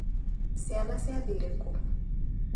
Ciana ciathakĩire ku?